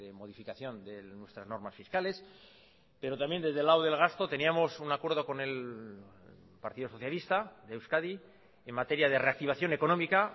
modificación de nuestras normas fiscales pero también desde el lado del gasto teníamos un acuerdo con el partido socialista de euskadi en materia de reactivación económica